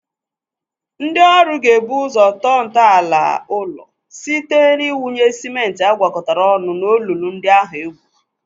Ndị ọrụ ga-ebu ụzọ tọọ ntọala ụlọ site iwunye sịmentị a gwakọtara ọnụ olulu ndị ahụ e gwuru.